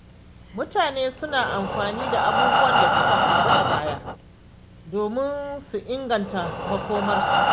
Mutane suna amfani da abubuwan da suka faru a baya domin su inganta makomarsu.